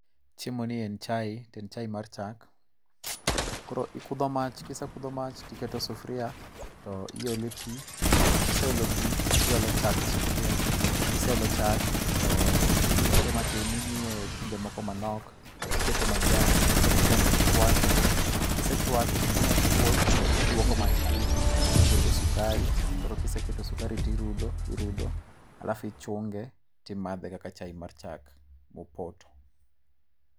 Chiemoni en chae, to en chae mar chak. Koro ikudho mach, kise kudho mach to iketo sufuria to iole pi, kise olo pi to iolo chak e sufuria, kise olo chak to irite matin, imiye kinde moko manok, tiketo majan kiketo majan to ichuake. Kisechuake to ka ang' okuot to iduoko mach piny, tiketo sukari. Koro kiseketo sukari tirudo irudo , alafu ichunge to imadhe kaka chae mar chak mopoto.